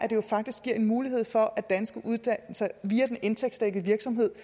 jo faktisk giver en mulighed for at danske uddannelser via den indtægtsdækkede virksomhed